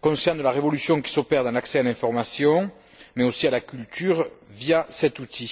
conscients de la révolution qui s'opère dans l'accès à l'information, mais aussi à la culture via cet outil.